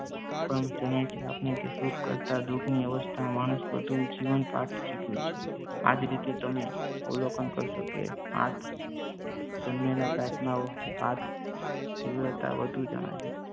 એ પણ જણાય છે આપણને કે સુખ કરતા દુઃખની અવસ્થામાં માણસ વધુ જીવન પાઠ શીખ્યો છે. આજ રીતે તમે અવલોકન કરશો કે આઠ જન્મેલા પ્રાર્થનાઓ આઠ તીવ્રતા વધુ જણાશે